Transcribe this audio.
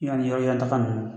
Yan ni yɔrɔjan taga ninnu